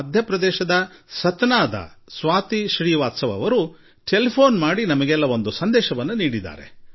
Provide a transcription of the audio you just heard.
ಮಧ್ಯ ಪ್ರದೇಶದ ಸತ್ನಾದಿಂದ ಸ್ವಾತಿ ಶ್ರೀವಾಸ್ತವ ಈ ಯೋಗ ದಿವಸದ ನಂತರ ನನಗೆ ಟೆಲಿಫೋನ್ ಮಾಡಿದರು ಹಾಗೂ ನಿಮ್ಮಲ್ಲರಿಗೂ ಸಂದೇಶ ಒಂದನ್ನು ಕೊಟ್ಟರು